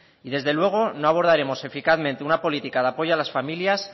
y desde luego no abordaremos eficazmente una política de apoyo a las familias